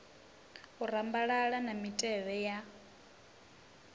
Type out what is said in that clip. u rambalala na mitevhe ya